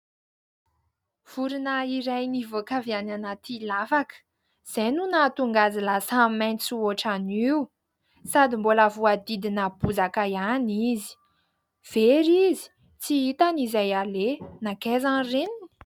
Vorona iray nivoaka avy any anaty lavaka, izay no nahatonga azy lasa maitso ohatran'io sady mbola voahodidina bozaka ihany izy. Very izy tsy hitany izay aleha nankaiza ny reniny ?